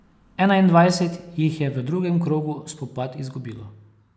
Enaindvajset jih je v drugem krogu spopad izgubilo.